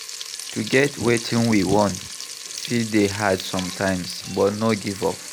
To get wetin we want fit dey hard sometimes but no give up